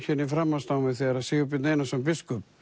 framhaldsnámi þegar Sigurbjörn Einarsson biskup